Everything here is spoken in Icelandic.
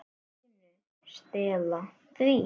MÍNU. Stela því?